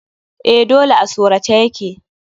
Eh dole a sorace ya ke.